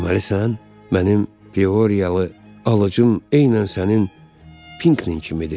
Deməli sən mənim Pioriyalı alıcım eynən sənin Pinklin kimidir.